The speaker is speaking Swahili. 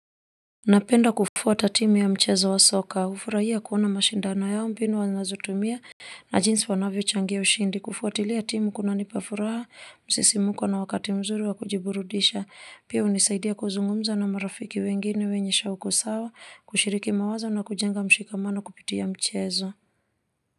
Napenda kufuata timu ya mchezo wa soka hufurahia kuona mashindano yao mbinu wanazotumia na jinsi wanavyo changia ushindi kufuatilia timu kuna nipa furaha, msisimko na wakati mzuri wa kujiburudisha pia hunisaidia kuzungumza na marafiki wengine wenye shauku sawa kushiriki mawazo na kujenga mshikamano kupitia mchezo.